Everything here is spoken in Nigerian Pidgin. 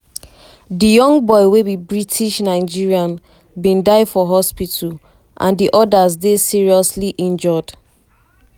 di young boy wey be british-nigerian bin die for hospital and di odas dey seriously um injured.